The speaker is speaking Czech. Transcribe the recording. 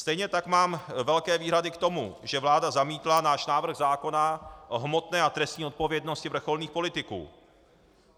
Stejně tak mám velké výhrady k tomu, že vláda zamítla náš návrh zákona o hmotné a trestní odpovědnosti vrcholných politiků.